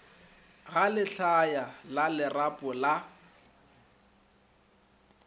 ga lehlaya la lerapo la